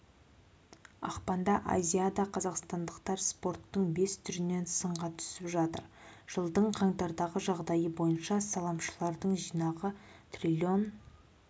ақпанда азиада қазақстандықтар спорттың бес түрінен сынға түсіп жатыр жылдың қаңтардағы жағдайы бойынша салымшыларының жинағы трлн